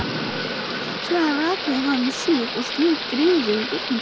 Síðan rakaði hann sig og strauk greiðu gegnum blautt hárið.